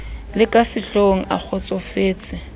le ka sehlohong a kgotsofetse